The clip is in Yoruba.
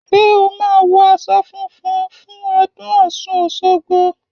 Ṣé o máa wọ aṣọ funfun fún ọdún ọ̀ṣun òṣogbo?